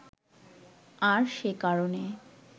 আর সে কারণে